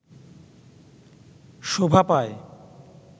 শোভা পায়